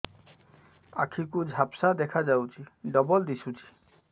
ଆଖି କୁ ଝାପ୍ସା ଦେଖାଯାଉଛି ଡବଳ ଦିଶୁଚି